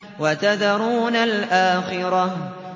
وَتَذَرُونَ الْآخِرَةَ